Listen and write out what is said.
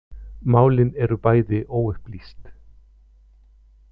Málin eru bæði óupplýst